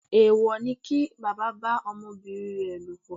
Èwò ni kí bàbá bá ọmọbìnrin rẹ̀ lòpọ̀.